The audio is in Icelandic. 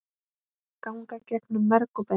ganga gegnum merg og bein